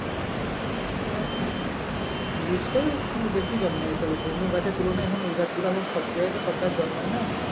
হ্যাঁ হ্যাঁ হ্যাঁ সব জায়গায় তো সব গাছ জন্মায় না